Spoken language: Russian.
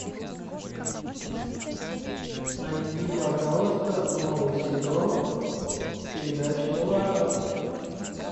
найди пожалуйста новый сезон передачи на ножах